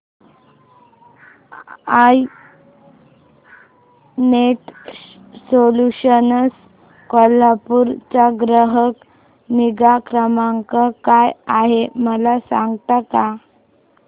I net solutions Kolhapur चा ग्राहक निगा क्रमांक काय आहे मला सांगता का